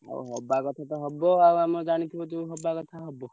ହଉ ହବା କଥା ତ ହବ ଆଉ ଆମେ ଜାଣିଥିବୁ ହବା କଥା ହବ।